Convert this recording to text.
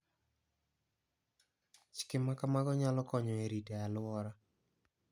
Chike ma kamago nyalo konyo e rito aluora.